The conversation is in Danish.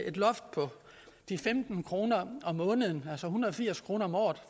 et loft på de femten kroner om måneden altså en hundrede og firs kroner om året